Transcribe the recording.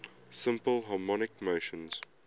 simple harmonic motion